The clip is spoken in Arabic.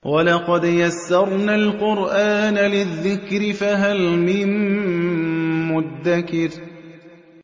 وَلَقَدْ يَسَّرْنَا الْقُرْآنَ لِلذِّكْرِ فَهَلْ مِن مُّدَّكِرٍ